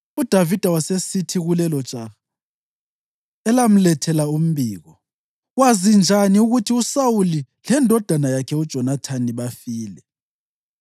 UDavida wasesithi kulelojaha elamlethela umbiko, “Wazi njani ukuthi uSawuli lendodana yakhe uJonathani bafile?”